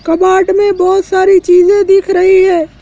कबाड़ में बहुत सारी चीजें दिख रही है।